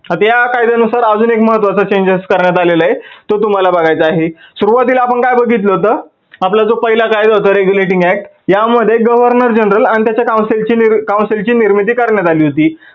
आता या कायद्या नुसार अजून एक महत्वाचा changes करण्यात आलेलं आहे. तो तुम्हाला बघायचा आहे सुरुवातीला आपण काय बघितल होतं? आपला जो पहिला कायदा होता regulating act या मध्ये governor general आणि त्याच्या council ची निर्मिती करण्यात आली होती.